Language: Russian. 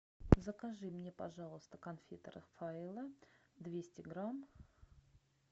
закажи мне пожалуйста конфеты рафаэлло двести грамм